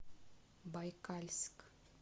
байкальск